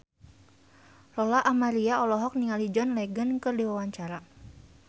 Lola Amaria olohok ningali John Legend keur diwawancara